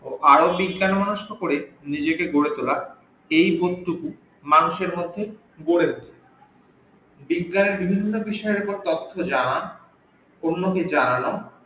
ও আরও বিজ্ঞান মনস্ক করে নিজেকে গড়ে তোলার এই বোধ টুকু মানুষের মধ্যে গড়েছে বিজ্ঞান এর বিভিন্ন বিষয়ের অপর তথ্য জানা ও অন্যকে জানান ও